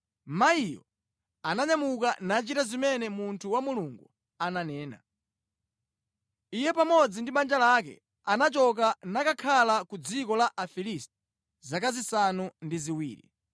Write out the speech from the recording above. Mayiyo ananyamuka nachita zimene munthu wa Mulungu ananena. Iye pamodzi ndi banja lake anachoka nakakhala ku dziko la Afilisti zaka zisanu ndi ziwiri.